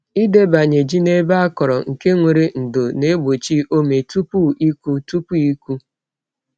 Ịdebanye ji n’ebe akọrọ nke nwere ndò na-egbochi ome tupu ịkụ. tupu ịkụ.